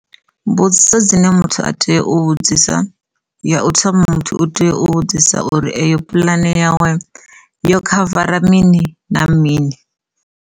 Mbudziso dzine muthu a tea u vhudzisa ya u thoma muthu u tea u vhudzisa uri eyo pulani yawe yo khavara mini na mini.